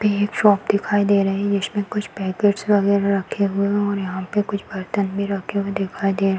एक शॉप दिखाई दे रही है जिसमें कुछ पैकिट वगैरह रखे हुए हैं और यहाँ पे कुछ बर्तन भी रखे हुए दिखाई दे --